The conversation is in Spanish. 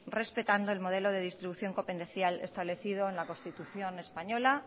respetando el modelo de distribución copendencial establecido en la constitución española